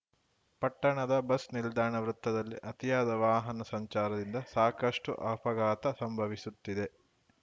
ಪಟ್ಟಣದ ಬಸ್‌ ನಿಲ್ದಾಣ ವೃತ್ತದಲ್ಲಿ ಅತಿಯಾದ ವಾಹನ ಸಂಚಾರದಿಂದ ಸಾಕಷ್ಟುಅಪಘಾತ ಸಂಭವಿಸುತ್ತಿದೆ